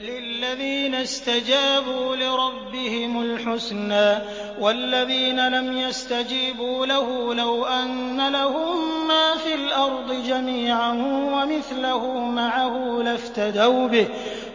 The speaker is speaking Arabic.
لِلَّذِينَ اسْتَجَابُوا لِرَبِّهِمُ الْحُسْنَىٰ ۚ وَالَّذِينَ لَمْ يَسْتَجِيبُوا لَهُ لَوْ أَنَّ لَهُم مَّا فِي الْأَرْضِ جَمِيعًا وَمِثْلَهُ مَعَهُ لَافْتَدَوْا بِهِ ۚ